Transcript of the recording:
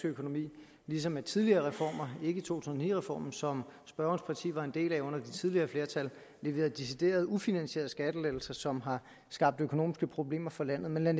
økonomi ligesom med tidligere reformer ikke tusind og ni reformen som spørgerens parti var en del af under det tidligere flertal der leveret decideret ufinansierede skattelettelser som har skabt økonomiske problemer for landet men lad